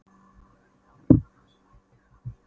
Horfði á bílana sem æddu framhjá.